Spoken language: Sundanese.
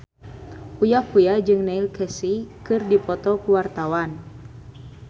Uya Kuya jeung Neil Casey keur dipoto ku wartawan